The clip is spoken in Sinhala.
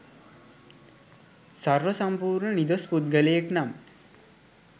සර්ව සම්පූර්ණ නිදොස් පුද්ගලයෙක් නම්